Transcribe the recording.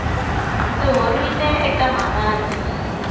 ndzi horile eka mavabyi